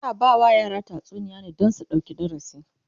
ana ba ma yara tatsuniya ne Dan su ɗauki darasi